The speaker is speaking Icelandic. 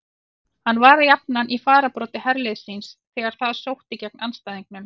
Hann var jafnan í fararbroddi herliðs síns þegar það sótti gegn andstæðingunum.